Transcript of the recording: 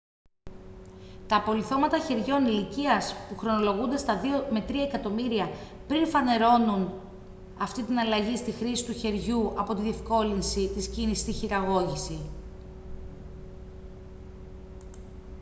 τα απολιθώματα χεριών ηλικίας που χρονολογούνται στα 2-3 εκατομμύρια χρόνια πριν φανερώνουν αυτή την αλλαγή στη χρήση του χεριού από τη διευκόλυνση της κίνησης στη χειραγώγηση